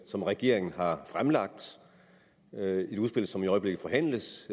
som regeringen har fremlagt et udspil som i øjeblikket forhandles